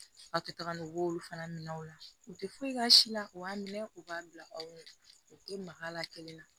A tun tagalen b'olu fana minɛnw la u tɛ foyi k'a si la u b'a minɛ u b'a bila anw tɛ maga a la kelen na